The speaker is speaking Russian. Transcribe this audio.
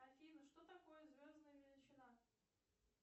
афина что такое звездная величина